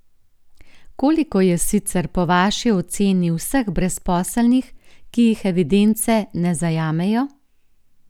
Koliko je sicer po vaši oceni vseh brezposelnih, ki jih evidence ne zajamejo?